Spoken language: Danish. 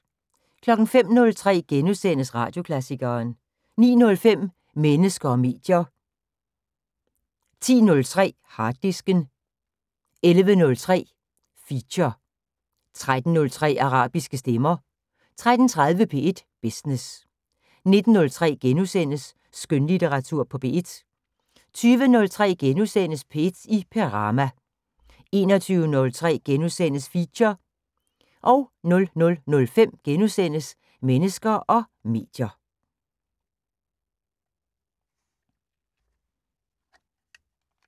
05:03: Radioklassikeren * 09:05: Mennesker og medier 10:03: Harddisken 11:03: Feature 13:03: Arabiske stemmer 13:30: P1 Business 19:03: Skønlitteratur på P1 * 20:03: P1 i Perama * 21:03: Feature * 00:05: Mennesker og medier *